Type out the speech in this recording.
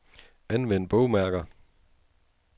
Anvend bogmærker.